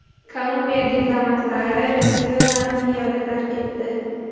Kolumbiya diplomatlari Venesuelani piyoda tark etdi.